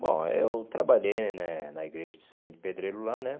Bom, eu trabalhei né na igreja de servente de pedreiro lá, né?